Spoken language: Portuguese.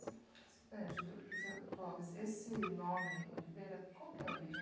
Seu candido, seu Clóvis, esse nome, Oliveira, qual que é a origem?